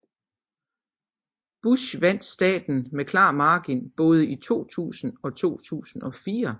Bush vandt staten med klar margin både i 2000 og 2004